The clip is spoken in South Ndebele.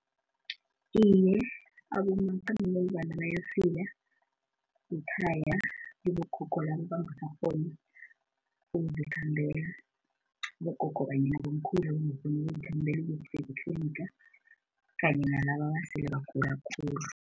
Iye, abomakhambangendlwana bayafika ngekhaya kibogogo labo abangasakghoni ukuzikhambela. Abogogo I mean abomkhulu abangakghoni ukuzikhambela ukuyokufika ngetliniga kanye nalaba abasele bagula khulu.